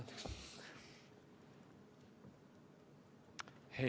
Andke andeks!